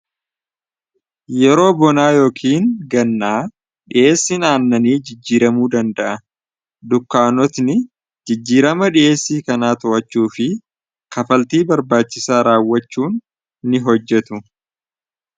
yeroo bonaa yookiin gannaa dhiheessin aannanii jijjiiramuu danda'a dukkaanotni jijjiirama dhi'eessii kanaa to'achuu fi kafaltii barbaachisaa raawwachuun ni hojjetu